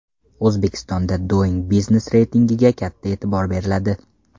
O‘zbekistonda Doing Business reytingiga katta e’tibor beriladi.